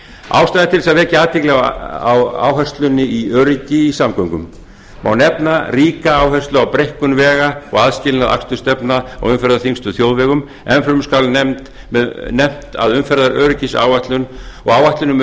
ástæða er til að vekja athygli á áherslunni á öryggi í samgöngum má nefna ríka áherslu á breikkun vega og aðskilnað akstursstefna á umferðarþyngstu þjóðvegum enn fremur skal nefnt að umferðaröryggisáætlun og áætlun um